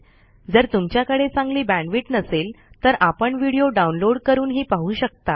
जर तुमच्याकडे चांगली बॅण्डविड्थ नसेल तर आपण व्हिडिओ डाउनलोड करूनही पाहू शकता